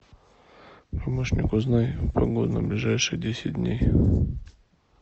помощник узнай погоду на ближайшие десять дней